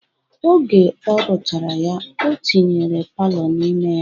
Oge ọ rụchara ya, o tinyere palọ n'ime ya